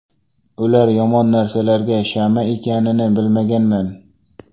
Ular yomon narsalarga shama ekanini bilmaganman”.